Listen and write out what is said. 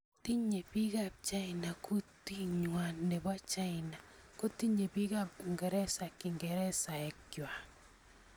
Tinyei bikap China kutingwai nebo China kotinyei bikap uingereza kingeresek ngwai